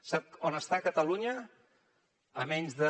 sap on està catalunya a menys de